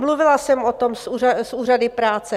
Mluvila jsem o tom s úřady práce.